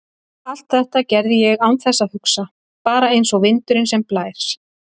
Allt þetta gerði ég án þess að hugsa, bara einsog vindurinn sem blæs.